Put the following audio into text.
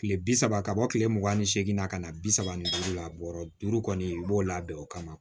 Kile bi saba ka bɔ kile mugan ni seegin na ka na bi saba ni duuru la bɔrɔ duuru kɔni i b'o labɛn o kama